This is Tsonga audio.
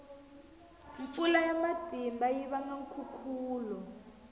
mpfula ya matimba yi vanga nkhukhulo